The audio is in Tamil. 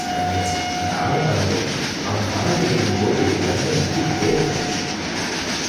ஐய! அந்த ஆள பாருங்க. அவன் பணத்த எண்ணும் போது வெரல நக்கிக்கிட்டே இருக்கான்.